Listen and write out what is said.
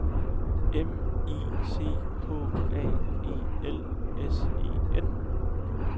M I C H A E L S E N